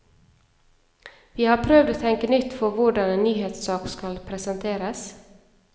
Vi har prøvd å tenke nytt for hvordan en nyhetssak skal presenteres.